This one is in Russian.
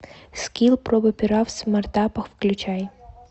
скилл проба пера в смартапах включай